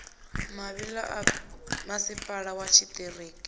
mavhi ḓa masipala wa tshiṱiriki